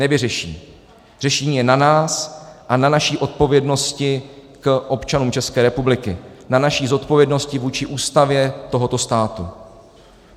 Nevyřeší, řešení je na nás a na naší odpovědnosti k občanům České republiky, na naší odpovědnosti vůči Ústavě tohoto státu.